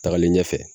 Tagalen ɲɛfɛ